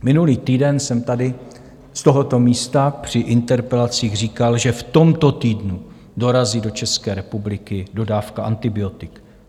Minulý týden jsem tady z tohoto místa při interpelacích říkal, že v tomto týdnu dorazí do České republiky dodávka antibiotik.